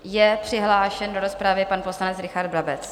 Je přihlášen do rozpravy pan poslanec Richard Brabec.